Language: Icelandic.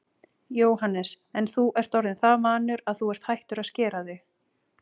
Jóhannes: En þú ert orðinn það vanur að þú ert hættur að skera þig?